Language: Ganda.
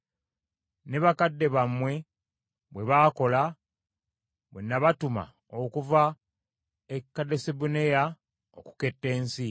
Ne bakadde bammwe bwe baakola bwe nabatuma okuva e Kadesubanea okuketta ensi.